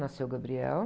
Nasceu o Gabriel.